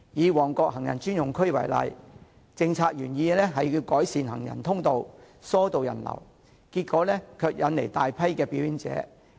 以旺角行人專用區為例，政府的政策原意是要改善行人通道，疏導人流，結果卻引來大批表演者。